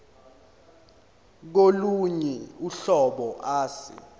kolunye uhlobo ase